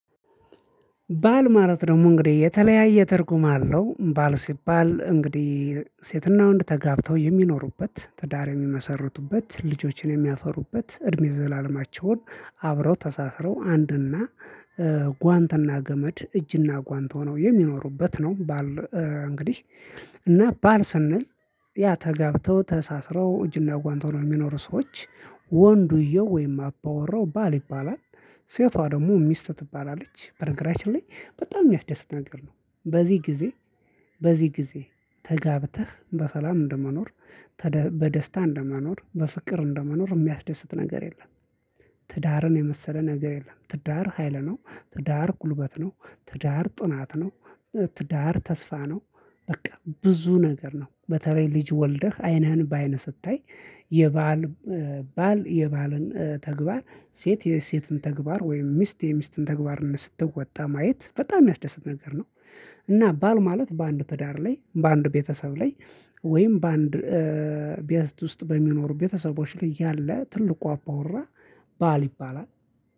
ባል ማለት ደግሞ እንግዲህ የተለያየ ትርጉም አለው ባል ሲባል እንግዲህ ሴትና ወንድ እንድትጋብተው የሚኖሩበት ትዳር የሚመሠርቱበት ልጆችን የሚያፈሩበት እድሜ ዘላለማቸውን አብረው ተሳስረው አንድና ጓንትና ገመድ እጅና ጓንት ሆነው የሚኖሩበት ነው። ባል እንግዲህ እና ባል ስንል ያ ተጋብተው ተሳስረው እጅና ጓንት ሆነው የሚኖሩ ሰዎች ወንዱየው ወይም አባወራው ባል ይባላል። ሴቷ ደግሞ ሚስት ትባላለች በነገራችን ላይ በጣም የሚያስደስት ነገር ነው። በዚህ ጊዜ በዚህ ጊዜ ተጋብተህ በሰላም እንደመኖር በደስታ እንደመኖር በፍቅር እንደመኖር የሚያስደስት ነገር የለም። ትዳርን የመሰለ ነገር የለም። ትዳር ሀይል ነው። ትዳር ጉልበት ነው። ትዳር ጥናት ነው። ትዳር ተስፋ ነው። በቃ ብዙ ነገር ነው። በተለይ ልጅ ወልደህ ዐይንህን በአይንህ ስታይ የባል የባልን ተግባር ሴት የሴትን ተግባር ወይም ሚስት የሚስትን ተግባርነት ስትወጣ ማየት በጣም የሚያስደስት ነገር ነው። እና ባል ማለት በአንድ ትዳር ላይ በአንድ ቤተሰብ ላይ ወይም በአንድ ቤት ውስጥ በሚኖሩ ቤተሰቦች ላይ ያለ ትልቁ አባወራ ባል ይባላል።